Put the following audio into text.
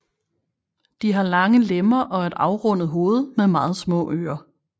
De har lange lemmer og et afrundet hoved med meget små ører